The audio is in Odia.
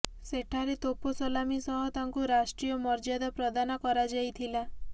ସେଠାରେ ତୋପ ସଲାମି ସହ ତାଙ୍କୁ ରାଷ୍ଟ୍ରୀୟ ମର୍ଯ୍ୟାଦା ପ୍ରଦାନ କରାଯାଇଥିଲା